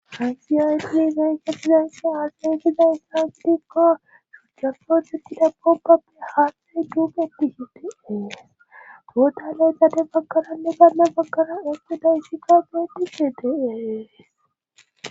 hanxiyayyni izeenketidansa axengida isasdikka shujafootetida bogapbe haathxey duupetihitees goota laytate baggananne ganla baggana asxeda shika geetise deeees